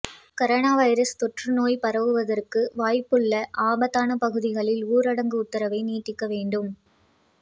corona virus தொற்றுநோய் பரவுவதற்கு வாய்ப்புள்ள ஆபத்தானபகுதிகளில் ஊரடங்கு உத்தரவை நீட்டிக்க வேண்டும்